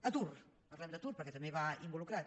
atur parlem d’atur perquè també hi va involucrat